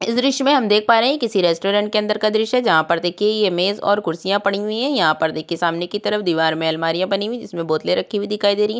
इस दृशय में हम देख पा रहे ये किसी रेस्टोरेंट के अंदर का दृश्य है जहा पर देखिये ये मेज और कुर्सियां पड़ी हुई है यहां पर देखे सामने की तरफ दिवार में अलमारियां बनि हुई जिसमे बोतले रखीं हुई दिखाई दे रही है।